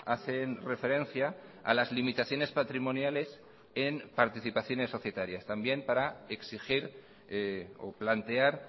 hacen referencia a las limitaciones patrimoniales en participaciones societarias también para exigir o plantear